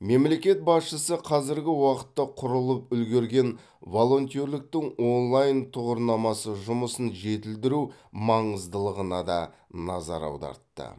мемлекет басшысы қазіргі уақытта құрылып үлгерген волонтерліктің онлайн тұғырнамасы жұмысын жетілдіру маңыздылығына да назар аудартты